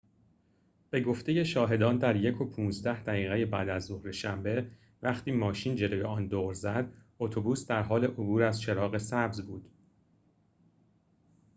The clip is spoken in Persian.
به گفته شاهدان در ۱:۱۵ دقیقه بعدازظهر شنبه وقتی ماشین جلوی آن دور زد اتوبوس در حال عبور از چراغ سبز بود